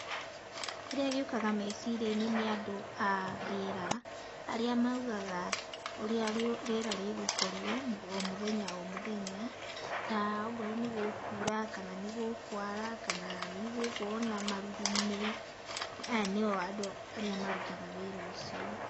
Kĩrĩa gĩũkaga meciria-inĩ nĩ andũ a rĩera, arĩa maugaga, ũrĩa rĩera rĩgũkorwo o mũthenya o mũthenya, ta okorwo nĩgũkura, kana nĩ gũkwara, kana nĩgũgũkorwo na marurumĩ. Aya nĩo andũ arĩa marutaga wĩra ũcio.